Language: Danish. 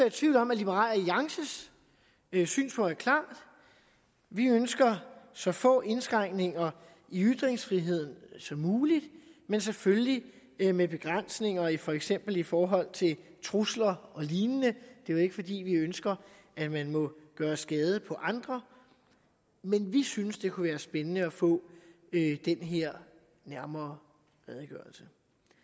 i tvivl om at liberal alliances synspunkt er klart vi ønsker så få indskrænkninger i ytringsfriheden som muligt men selvfølgelig med begrænsninger for eksempel i forhold til trusler og lignende det er jo ikke fordi vi ønsker at man må gøre skade på andre men vi synes det kunne være spændende at få den her nærmere redegørelse